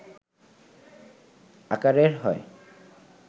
আকারের হয়